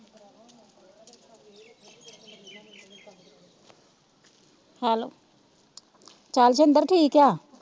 ਚਲ ਜਿੰਦਰ ਠੀਕ ਆ